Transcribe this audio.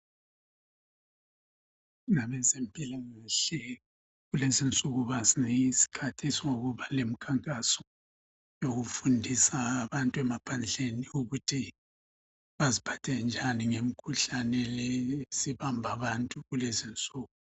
Abazempilakahle kulezi insuku bazinika isikhathi sokuba lemikhankaso yokufundisa abantu ukuthi beziphathe njani ngemikhuhlane esibamba abantu kulezi insuku.